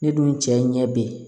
Ne dun cɛ ɲɛ bɛ yen